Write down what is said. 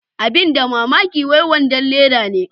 abin da mamaki wai wadon Leda ne.